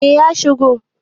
eh ya shigo